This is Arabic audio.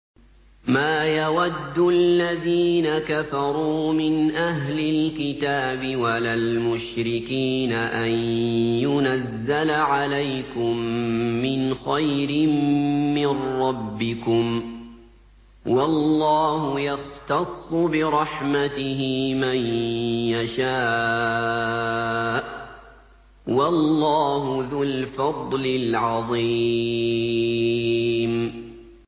مَّا يَوَدُّ الَّذِينَ كَفَرُوا مِنْ أَهْلِ الْكِتَابِ وَلَا الْمُشْرِكِينَ أَن يُنَزَّلَ عَلَيْكُم مِّنْ خَيْرٍ مِّن رَّبِّكُمْ ۗ وَاللَّهُ يَخْتَصُّ بِرَحْمَتِهِ مَن يَشَاءُ ۚ وَاللَّهُ ذُو الْفَضْلِ الْعَظِيمِ